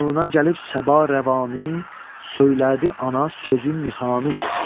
Yanına gəlib səba rəvanı, söylədi ana sözün nihanı.